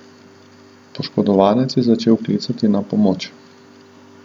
Poškodovanec je začel klicati na pomoč.